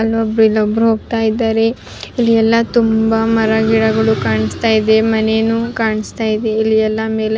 ಅಲ್ಲೊಬ್ರು ಇಲ್ಲೊಬ್ರು ಹೋಗ್ತಾ ಇದಾರೆ ಇಲ್ಲಿ ಎಲ್ಲ ತುಂಬ ಮರ ಗಿಡಗಳು ಕಾಣ್ಸ್ತಾಇದೆ ಮನೆನು ಕಾಣ್ಸ್ತಾ ಇದೆ ಇಲ್ಲಿ ಎಲ್ಲ ಮೇಲೆ--